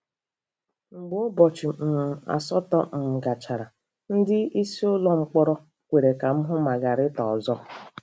Mgbe ụbọchị um asatọ um gachara, ndị isi ụlọ mkpọrọ kwere ka m hụ Magarita ọzọ.